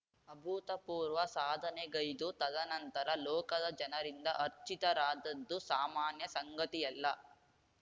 ಅಭೂತಪೂರ್ವ ಸಾಧನೆಗೈದು ತದನಂತರ ಲೋಕದ ಜನರಿಂದ ಅರ್ಚಿತರಾದದ್ದು ಸಾಮಾನ್ಯ ಸಂಗತಿಯಲ್ಲ